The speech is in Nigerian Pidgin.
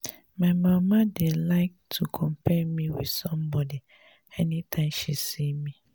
my mama dey like to compare me with somebody anytime she see me